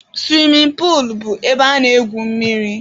Suwimin puulu bụ ebe a na-egwu mmiri.